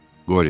Qoryo.